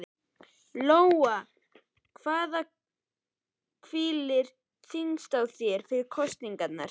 Lóa: En hvað hvílir þyngst á þér fyrir kosningarnar?